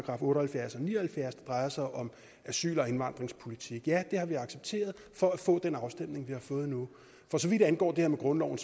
og halvfjerds og ni og halvfjerds det drejer sig om asyl og indvandringspolitik ja det har vi accepteret for at få den afstemning vi har fået nu for så vidt angår det om grundloven